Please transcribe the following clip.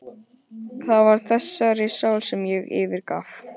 Það var þessari sál sem ég fyrirgaf.